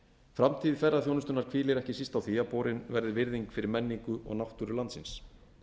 framtíð ferðaþjónustunnar hvílir ekki síst á því að borin verði virðing fyrir menningu og náttúru landsins